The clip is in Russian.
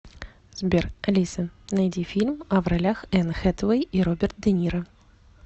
сбер алиса найди фильм а в ролях энн хэтэуэй и роберт де ниро